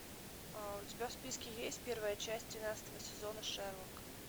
у тебя в списке есть первая часть тринадцатого сезона шерлок